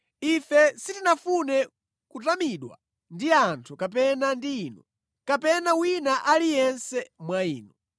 Ife sitinafune kutamidwa ndi anthu, kapena ndi inu, kapena wina aliyense mwa inu.